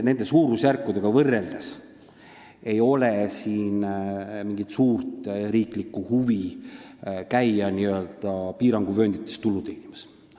Nende suurusjärkudega võrreldes on selge, et ei ole mingit suurt riiklikku huvi käia piiranguvööndites tulu teenimas.